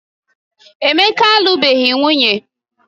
Emeka alubeghị nwunye